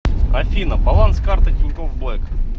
афина баланс карты тинькофф блэк